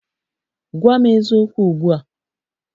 Gwa m eziokwu ugbu a!